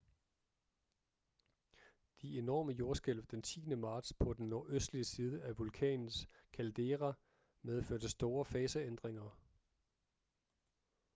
de enorme jordskælv den 10. marts på den nordøstlige side af vulkanens caldera medførte store faseændringer